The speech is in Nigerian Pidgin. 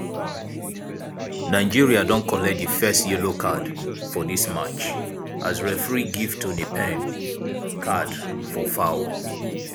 nigeria don collect di first yellow card for dis match as referee give toni payne card for foul.